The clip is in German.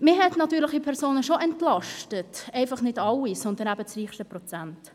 Natürliche Personen wurden durchaus entlastet, einfach nicht alle, sondern das reichste Prozent.